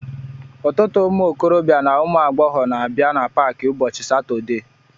Ọtụtụ ụmụ okorobịa na ụmụ agbọghọ na abịa na paaki ụbọchị satọdee